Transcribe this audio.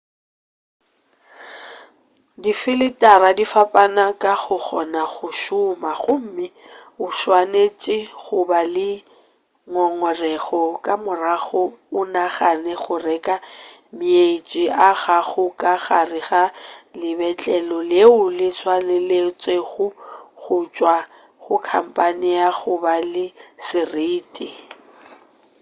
difeletara di fapana ka go kgona go šoma gomme o swanetše go ba le ngongorego ka morago o nagane go reka meetse a gago ka gare ga lebetlelo leo le tswaletšego go tšwa go khampane ya go ba le seriti